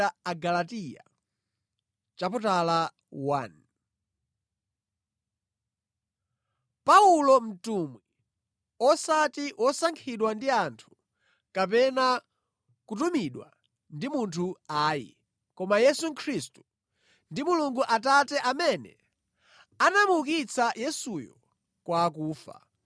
Paulo mtumwi, osati wosankhidwa ndi anthu kapena kutumidwa ndi munthu ayi, koma Yesu Khristu, ndi Mulungu Atate amene anamuukitsa Yesuyo kwa akufa,